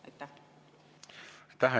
Aitäh!